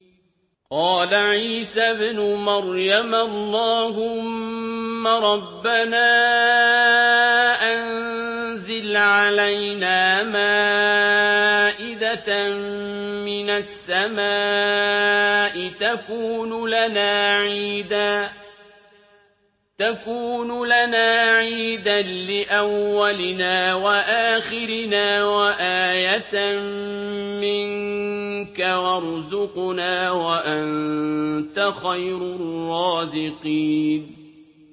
قَالَ عِيسَى ابْنُ مَرْيَمَ اللَّهُمَّ رَبَّنَا أَنزِلْ عَلَيْنَا مَائِدَةً مِّنَ السَّمَاءِ تَكُونُ لَنَا عِيدًا لِّأَوَّلِنَا وَآخِرِنَا وَآيَةً مِّنكَ ۖ وَارْزُقْنَا وَأَنتَ خَيْرُ الرَّازِقِينَ